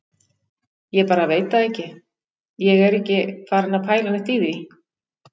Ég bara veit það ekki. ég er ekki farinn að pæla neitt í því.